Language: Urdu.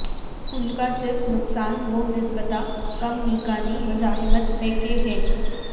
ان کا صرف نقصان وہ نسبتا کم میکانی مزاحمت ہے کہ ہے